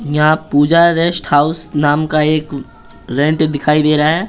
यहां Puja rest house नाम का एक रेंट दिखाई दे रहा है ।